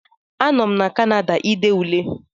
A nọ m na Kanada ide Ule